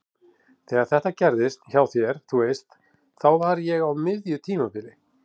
Þegar þetta gerðist hjá þér. þú veist. þá var ég á miðju tímabili.